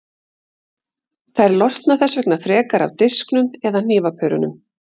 Þær losna þess vegna frekar af disknum eða hnífapörunum.